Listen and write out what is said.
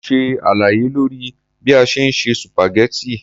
Mo ṣe àlàyé lórí bí a ṣe ń se sùpàgẹ́tì.